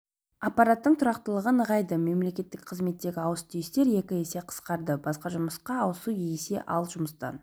аппараттың тұрақтылығы нығайды мемлекеттік қызметтегі ауыс-түйістер екі есе қысқарды басқа жұмысқа ауысу есе ал жұмыстан